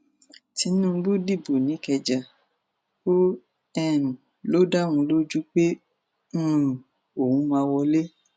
tinúbú dìbò nìkẹjá ó um lọ dá òun lójú pé um òun máa wọlé